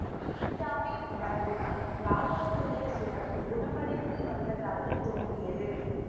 சீதாவின் வரவினால் ராகவனுடைய சுரம் குணம் அடைந்து வந்ததாக தோன்றியது